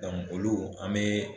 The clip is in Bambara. Tɔn olu an mee